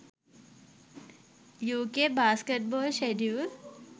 uk basketball schedule